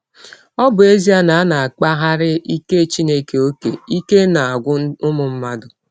Ọ bụ ezie na a kpaaraghị ike Chineke ọ́kè, ike na - agwụ ụmụ mmadụ.